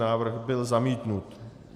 Návrh byl zamítnut.